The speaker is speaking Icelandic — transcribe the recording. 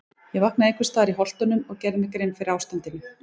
Ég vaknaði einhvers staðar í Holtunum og gerði mér grein fyrir ástandinu.